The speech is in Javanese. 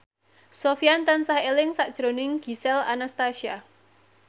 Sofyan tansah eling sakjroning Gisel Anastasia